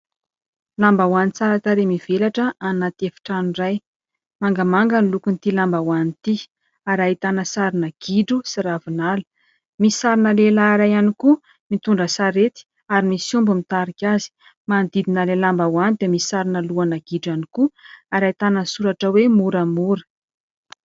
Lambahoany tsara tarehy mivelatra anaty efitrano iray, mangamanga ny lokon'ity lambahoany ity ary ahitana sarina gidro sy ravinala, misy sarina lehilahy iray ihany koa mitondra sarety ary misy omby mitarika azy. Manodidina ilay lambahoany dia misy sarina lohana gidro ihany koa ary ahitana soratra hoe : "Moramora".